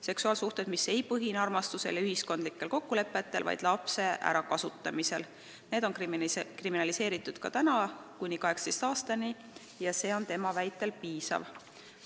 Seksuaalsuhted, mis ei põhine armastusel ja ühiskondlikel kokkulepetel, vaid lapse ärakasutamisel, on kriminaliseeritud ka praegu eapiirini kuni 18 aastat ja see on tema väitel piisav.